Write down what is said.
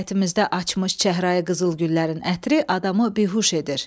Həyətimizdə açmış çəhrayı qızıl güllərin ətri adamı bihuş edir.